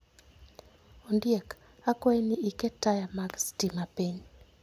Ondiek, akwayi ni iket taya mag sitima piny.